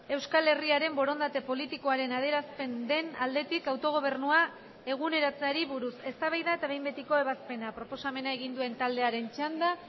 euskal herriaren borondate politikoaren adierazpen den aldetik autogobernua eguneratzeari buruz eztabaida eta behin betiko ebazpena proposamena egin duen taldearen txanda